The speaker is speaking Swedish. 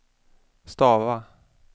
stava